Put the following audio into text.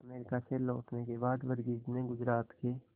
America से लौटने के बाद वर्गीज ने गुजरात के